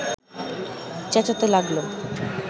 চেঁচাতে লাগল।